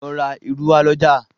lọ rá ìrù wa l'ọja